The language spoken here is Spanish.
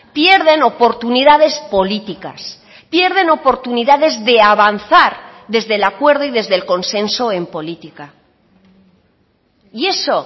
pierden oportunidades políticas pierden oportunidades de avanzar desde el acuerdo y desde el consenso en política y eso